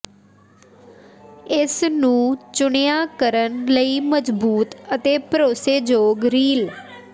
ਇਸ ਨੂੰ ਚੁਣਿਆ ਕਰਨ ਲਈ ਮਜਬੂਤ ਅਤੇ ਭਰੋਸੇਯੋਗ ਰੀਲ